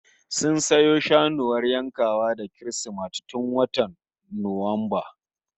Sun sayo saniyar yankawa da Kirsimeti tun watan Nuwamba